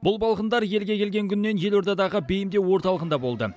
бұл балғындар елге келген күннен елордадағы бейімдеу орталығында болды